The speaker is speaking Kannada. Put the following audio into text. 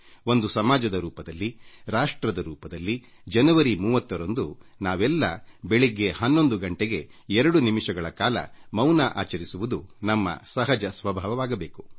ಒಂದು ಸಮಾಜದ ರೂಪದಲ್ಲಿ ರಾಷ್ಟ್ರದ ರೂಪದಲ್ಲಿ ಜನವರಿ 30 ರಂದು ನಾವೆಲ್ಲ ಬೆಳಗ್ಗೆ 11 ಗಂಟೆಗೆ 2 ನಿಮಿಷಗಳ ಕಾಲ ಮೌನ ಶ್ರದ್ಧಾಂಜಲಿ ಅರ್ಪಿಸುವುದು ನಮ್ಮ ಸಹಜ ಸ್ವಭಾವವಾಗಬೇಕು